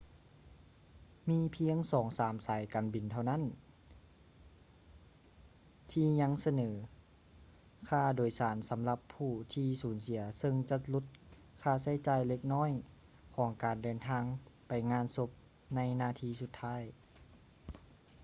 ມີພຽງສອງສາມສາຍການບິນເທົ່ານັ້ນທີ່ຍັງສະເໜີຄ່າໂດຍສານສຳຫຼັບຜູ້ທີ່ສູນເສຍເຊິ່ງຈະຫຼຸດຄ່າໃຊ້ຈ່າຍເລັກນ້ອຍຂອງການເດີນທາງໄປງານສົບໃນນາທີສຸດທ້າຍ